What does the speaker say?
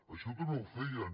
això també ho feien